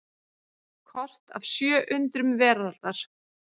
Kort af sjö undrum veraldar.